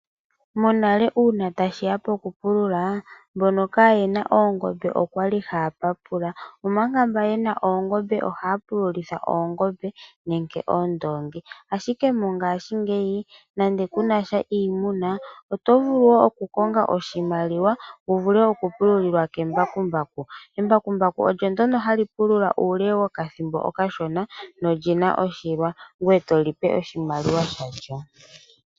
Monale uuna tashiya poku pulula, mbono kayena oongombe oyali haa papula, omanga mboka yena oongombe ohaa pululitha oongombe, nenge oondoongi. Ashike mongashingeyi nando kunasha iimuna, oto vulu okukonga oahimaliwa, opo wu vule okupululilwa kembakumbaku. Embakumbaku olyo ndjoka hali pulula uule wethimbo efupi, na olina oshilwa, ngoye togandja oshimaliwa shaantu.